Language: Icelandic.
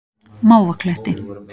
Mávakletti